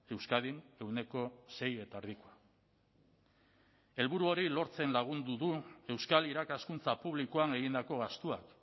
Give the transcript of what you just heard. euskadin ehuneko sei koma bost helburu hori lortzen lagundu du euskal irakaskuntza publikoan egindako gastuak